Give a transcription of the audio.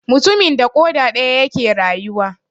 Mutumin da ƙoda daya yake rayuwa.